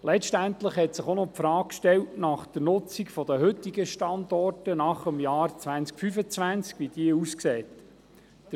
Letztendlich stellte sich auch noch die Frage, wie die Nutzung der heutigen Standorte nach dem Jahr 2025 aussehen wird.